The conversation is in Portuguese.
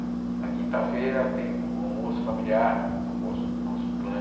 Na quinta-feira tenho um almoço familiar, almoço do nosso clã.